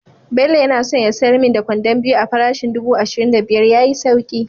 Bello yana son ya sayar min da kwandon biyu a parishin dubu ashirin da biyar ya yi sauki